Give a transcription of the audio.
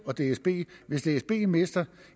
og dsb hvis dsb mister